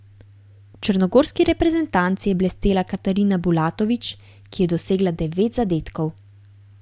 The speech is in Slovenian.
V črnogorski reprezentanci je blestela Katarina Bulatović, ki je dosegla devet zadetkov.